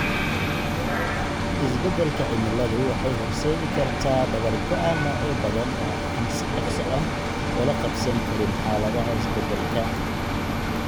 Isbeddelka cimiladu waxay horseedi kartaa dabar go'a noocyo badan oo aan si dhakhso ah ula qabsan karin xaaladaha isbeddelka.